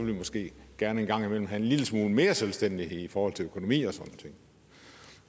vi måske gerne en gang imellem have en lille smule mere selvstændighed i forhold til økonomi og